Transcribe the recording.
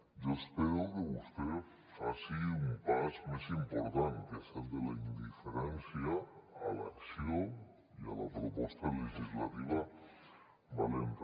jo espero que vostè faci un pas més important que és el de la indiferència a l’acció i a la proposta legislativa valenta